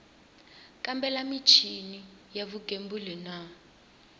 kambela michini ya vugembuli na